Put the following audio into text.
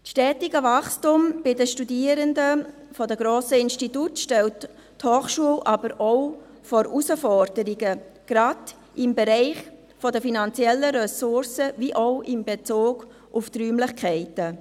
Das stetige Wachstum der Studierenden in den grossen Instituten stellt die Hochschule aber auch vor Herausforderungen, gerade im Bereich der finanziellen Ressourcen wie auch in Bezug auf die Räumlichkeiten.